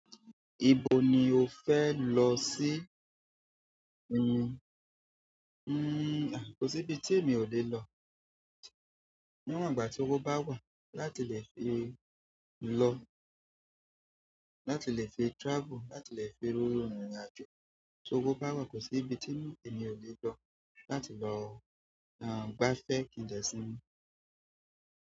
Ibo ni o fẹ lọ sí? Nn, hmm, à, kò sí ibi tí èmi ò lè lọ. Níwọ̀n ìgbà tí owo bá wà láti lè fi lọ, láti lè fi travel, láti lè fi rín ìrìnàjò. Tí owó bá wà kò sí ibi tí èmi ò lè lọ. Láti lọ, à, gbafẹ́ kí n dẹ́ṣìn.